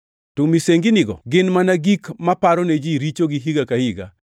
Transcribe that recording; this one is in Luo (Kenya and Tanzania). To misenginigo gin mana gik maparo ne ji richogi higa ka higa,